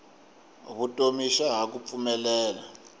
vutomi xa ha ku pfumelela